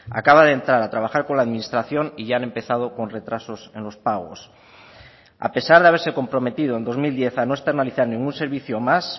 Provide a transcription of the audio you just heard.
acaba de entrar a trabajar con la administración y ya han empezado con retrasos en los pagos a pesar de haberse comprometido en dos mil diez a no externalizar ningún servicio más